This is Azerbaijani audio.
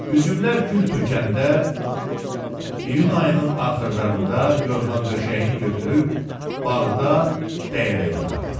Üzümlər gül tökəndə iyun ayının axırlarında yorğan-döşəyini götürüb bağda dəyədə yatırdı.